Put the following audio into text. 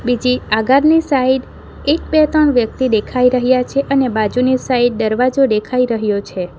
પછી આગળની સાઈટ એક બે ત્રણ વ્યક્તિ દેખાઈ રહ્યા છે અને બાજુની સાઈડ ડરવાજો દેખાઈ રહ્યો છે.